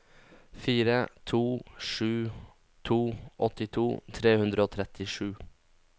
fire to sju to åttito tre hundre og trettisju